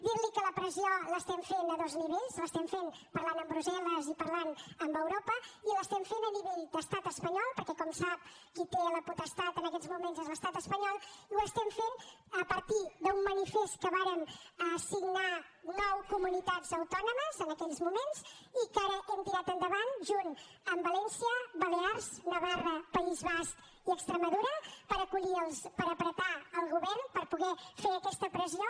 dirli que la pressió l’estem fent a dos nivells l’estem fent parlant amb brussel·les i parlant amb europa i l’estem fent a nivell d’estat espanyol perquè com sap qui té la potestat en aquest moments és l’estat espanyol i ho estem fent a partir d’un manifest que vàrem signar nou comunitats autònomes en aquells moments i que ara hem tirat endavant juntament amb valència balears navarra país basc i extremadura per apretar el govern per poder fer aquesta pressió